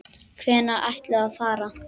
Hvenær ætlarðu að fara?